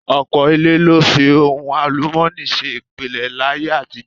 Ọ̀pọ̀ ilé ló fi ohun àlùmọ́ọ́nì ṣe ìpìlẹ̀ láyé àtijọ́.